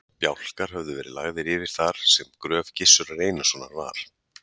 Bjálkar miklir höfðu verið lagðir yfir þar sem gröf Gizurar Einarssonar var.